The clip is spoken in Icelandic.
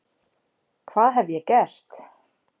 Hvað hef ég gert?